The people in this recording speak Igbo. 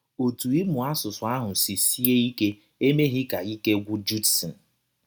Ọtụ ịmụ asụsụ ahụ si sie ike emeghị ka ike gwụ Judson.